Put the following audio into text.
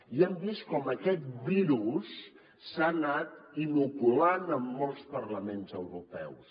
i hem vist com aquest virus s’ha anat inoculant en molts parlaments europeus